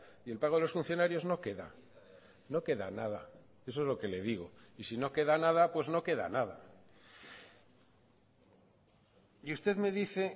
y el pago de los funcionarios no queda no queda nada eso es lo que le digo y si no queda nada pues no queda nada y usted me dice